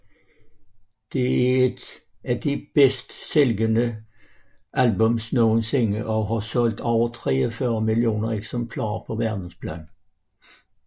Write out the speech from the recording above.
Det er et af de bedst sælgende albums nogensinde og har solgt over 43 millioner eksemplarer på verdensplan